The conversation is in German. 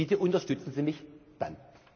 sind. Bitte unterstützen Sie mich